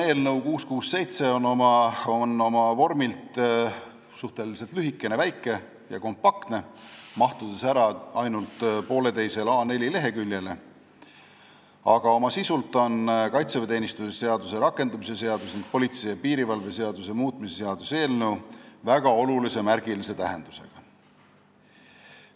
Eelnõu 667 on oma vormilt suhteliselt lühikene, väike ja kompaktne, mahtudes ära ainult poolteisele A4-leheküljele, aga oma sisult on kaitseväeteenistuse seaduse rakendamise seaduse ning politsei ja piirivalve seaduse muutmise seaduse eelnõu märgilise tähendusega.